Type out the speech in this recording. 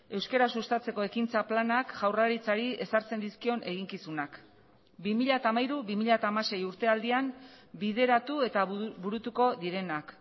euskara sustatzeko ekintza planak jaurlaritzari ezartzen dizkion eginkizunak bi mila hamairu bi mila hamasei urtealdian bideratu eta burutuko direnak